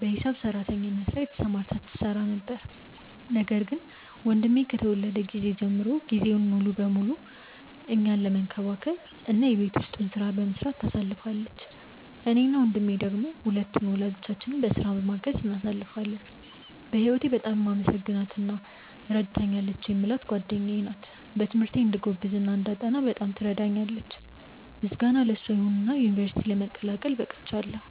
በሂሳብ ሰራተኝነት ላይ ተሰማርታ ትገኛ ነበር፤ ነገር ግን ወንድሜ ከተወለደ ጊዜ ጀምሮ ጊዜዋን ሙሉ ለሙሉ እኛን መንከባከብ እና የቤት ውስጡን ሥራ በመስራት ታሳልፋለች። እኔ እና ወንድሜ ደሞ ሁለቱን ወላጆቻችንን በሥራቸው በማገዝ እናሳልፋለን። በህወቴ በጣም የማመሰግናት እና ረድታኛለች የምላት ጓደኛዬ ናት። በትምህርቴ እንድጎብዝ እና እንዳጠና በጣም ትረዳኛለች። ምስጋና ለሷ ይሁንና ዩንቨርስቲ ለመቀላቀል በቅቻለው።